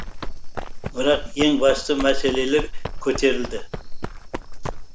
бірақ ең басты мәселелер көтерілді